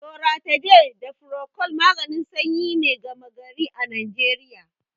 Loratiday da Procold maganin sanyi ne gama-gari a Najeriya.